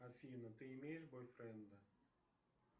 афина ты имеешь бойфренда